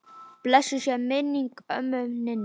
Blessuð sé minning ömmu Ninnu.